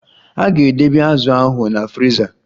A ga-edebe azu ahụ na friza.